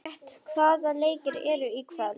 Grét, hvaða leikir eru í kvöld?